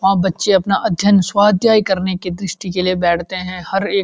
वहाँ बच्चे अपना अध्ययन स्वध्यय करने के दृष्टि के लिए बैठते हैं हर एक --